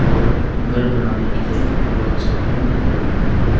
और घर बनाने के लिए अलग सा बीम दिखाई दे रहा है।